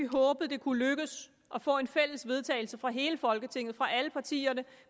håbet det kunne lykkes at få et fælles vedtagelse fra hele folketinget fra alle partierne